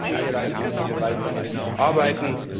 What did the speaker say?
An diesen Bereichen müssen wir weiterhin arbeiten.